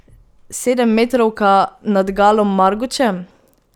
Sedemmetrovka nad Galom Margučem?